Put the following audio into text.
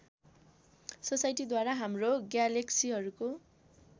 सोसाइटीद्वारा हाम्रो ग्यालेक्सीहरूको